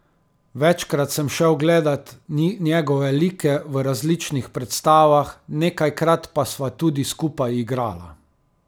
Večkrat sem šel gledat njegove like v različnih predstavah, nekajkrat pa sva tudi skupaj igrala.